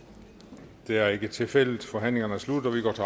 det er ikke tilfældet og forhandlingen er sluttet